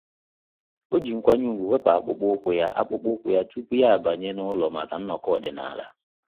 Ọ́ jì nkwanye ùgwù wèpụ́ ákpụ́kpọ́ ụ́kwụ́ ya ụ́kwụ́ ya tupu yá ábànyé n’ụ́lọ́ màkà nnọkọ ọ́dị́nála.